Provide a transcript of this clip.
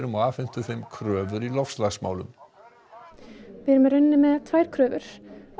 og afhentu þeim kröfur í loftslagsmálum við erum í rauninni með tvær kröfur